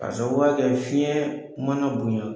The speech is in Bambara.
Ka sababuya kɛ fiɲɛ mana bonɲa